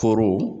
Foro